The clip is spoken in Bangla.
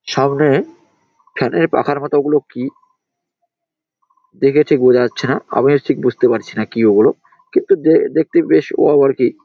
সামনে ফ্যান এর পাখার মতো ওগুলো কি? দেখে ঠিক বোঝা যাচ্ছে না। আমিও ঠিক বুঝতে পারছি না কি ওগুলো কিন্তু দে-দেখতে বেশ ওয়াও আর কি ।